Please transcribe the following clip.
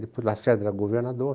Depois o Lacerda era governador.